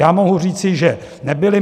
Já mohu říci, že nebyly.